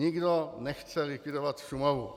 Nikdo nechce likvidovat Šumavu.